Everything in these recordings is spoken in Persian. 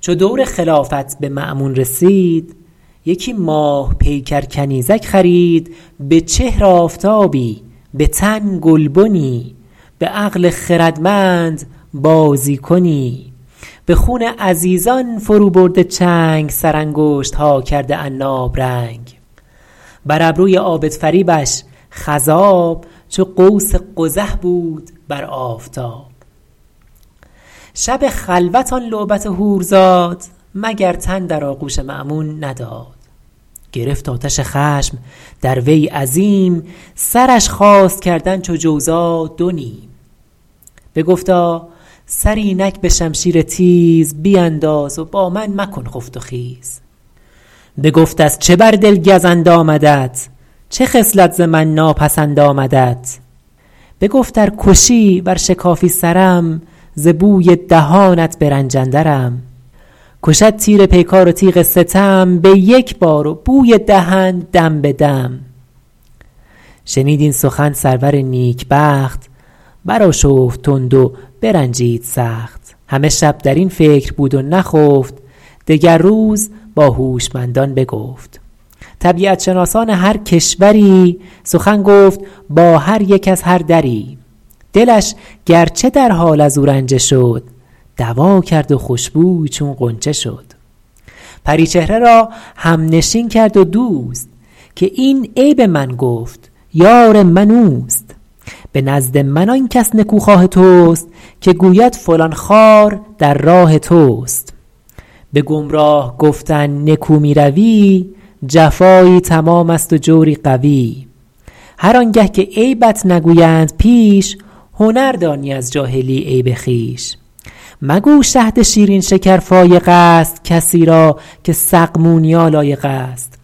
چو دور خلافت به مأمون رسید یکی ماه پیکر کنیزک خرید به چهر آفتابی به تن گلبنی به عقل خردمند بازی کنی به خون عزیزان فرو برده چنگ سر انگشتها کرده عناب رنگ بر ابروی عابد فریبش خضاب چو قوس قزح بود بر آفتاب شب خلوت آن لعبت حور زاد مگر تن در آغوش مأمون نداد گرفت آتش خشم در وی عظیم سرش خواست کردن چو جوزا دو نیم بگفتا سر اینک به شمشیر تیز بینداز و با من مکن خفت و خیز بگفت از چه بر دل گزند آمدت چه خصلت ز من ناپسند آمدت بگفت ار کشی ور شکافی سرم ز بوی دهانت به رنج اندرم کشد تیر پیکار و تیغ ستم به یک بار و بوی دهن دم به دم شنید این سخن سرور نیکبخت برآشفت تند و برنجید سخت همه شب در این فکر بود و نخفت دگر روز با هوشمندان بگفت طبیعت شناسان هر کشوری سخن گفت با هر یک از هر دری دلش گرچه در حال از او رنجه شد دوا کرد و خوشبوی چون غنچه شد پری چهره را همنشین کرد و دوست که این عیب من گفت یار من اوست به نزد من آن کس نکوخواه توست که گوید فلان خار در راه توست به گمراه گفتن نکو می روی جفایی تمام است و جوری قوی هر آن گه که عیبت نگویند پیش هنر دانی از جاهلی عیب خویش مگو شهد شیرین شکر فایق است کسی را که سقمونیا لایق است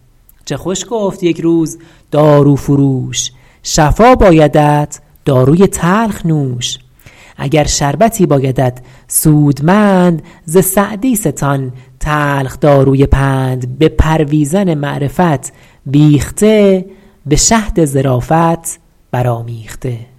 چه خوش گفت یک روز دارو فروش شفا بایدت داروی تلخ نوش اگر شربتی بایدت سودمند ز سعدی ستان تلخ داروی پند به پرویزن معرفت بیخته به شهد ظرافت برآمیخته